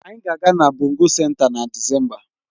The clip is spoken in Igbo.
Anyị ga-aga na bongo senta na Disemba